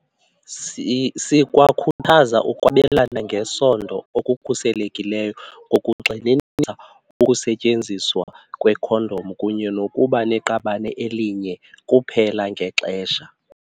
"Sikwakhuthaza ukwabelana ngesondo okukhuselekileyo ngokugxininisa ukusetyenziswa kwekhondom kunye nokuba neqabane elinye kuphela ngexesha."